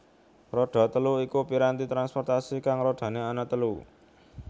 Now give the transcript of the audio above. Roda telu iku piranti transportasi kang rodane ana telu